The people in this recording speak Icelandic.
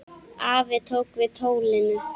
Afi tók við tólinu.